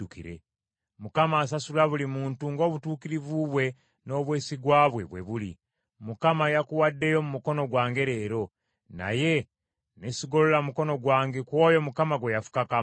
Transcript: Mukama asasula buli muntu ng’obutuukirivu bwe n’obwesigwa bwe, bwe biri. Mukama yakuwaddeyo mu mukono gwange leero, naye ne sigolola mukono gwange ku oyo Mukama gwe yafukako amafuta.